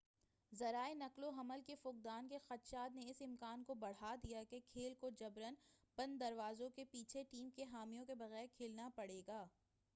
ذرائع نقل و حمل کے فقدان کے خدشات نے اس امکان کو بڑھا دیا ہے کہ کھیل کو جبراً بند دروازوں کے پیچھے ٹیم کے حامیوں کے بغیر کھیلنا پڑے گا